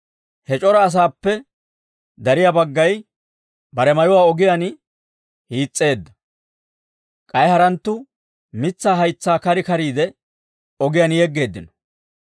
He c'ora asaappe dariyaa baggay bare mayuwaa ogiyaan hiis's'eedda; k'ay haranttu mitsaa haytsaa kar kariide, ogiyaan yeggeeddino.